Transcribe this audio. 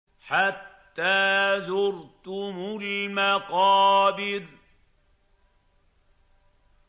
حَتَّىٰ زُرْتُمُ الْمَقَابِرَ